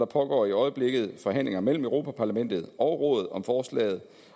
pågår i øjeblikket forhandlinger mellem europa parlamentet og rådet om forslaget